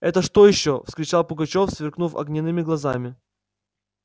это что ещё вскричал пугачёв сверкнув огненными глазами